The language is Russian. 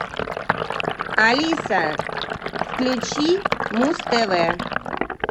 алиса включи муз тв